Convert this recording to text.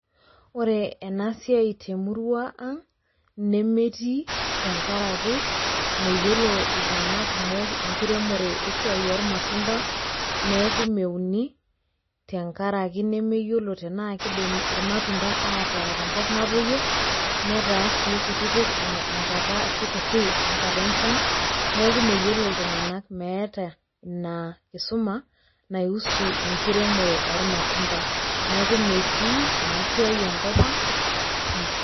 Ore enasiai temurua ang' nemetii tengaraki meyiolo iltung'ana kumok esiai enkiremore esiai oolmatunda neaku meuni tengaraki nemeyiolo tenaakeidim ilmatunda ataa tenkop natoyio netaa sii kutitik enkata ashu kuti enkata enchan neaku meyiolo iltung'ana, meeta inaakisuma naihusu enkiremore ormatunda neaku metii enasiai enkopang' pii.